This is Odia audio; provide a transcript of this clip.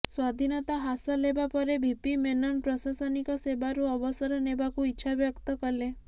ସ୍ୱାଧୀନତା ହାସଲ ହେବା ପରେ ଭିପି ମେନନ ପ୍ରଶାସନିକ ସେବାରୁ ଅବସର ନେବାକୁ ଇଚ୍ଛାବ୍ୟକ୍ତ କଲେ